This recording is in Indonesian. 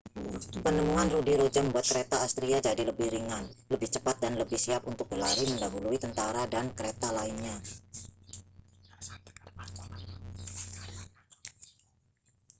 penemuan roda ruji membuat kereta asiria jadi lebih ringan lebih cepat dan lebih siap untuk berlari mendahului tentara dan kereta lainnya